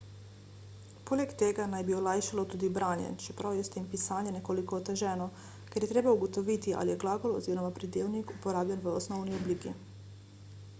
poleg tega naj bi olajšalo tudi branje čeprav je s tem pisanje nekoliko oteženo ker je treba ugotoviti ali je glagol oziroma pridevnik uporabljen v osnovni obliki